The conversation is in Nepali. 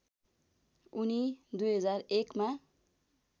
उनी २००१ मा